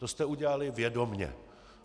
To jste udělali vědomě.